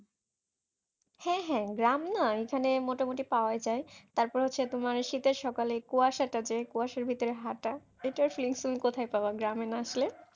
হ্যাঁ হ্যাঁ গ্রাম না এখানে মোটামুটি পাওয়া যায় তারপরে হচ্ছে তোমার শীতের সকালে কুয়াশা টা যে কুয়াশার ভেতরে হাঁটা এটার feelings তুমি কোথায় পাবে গ্রামে না আসলে?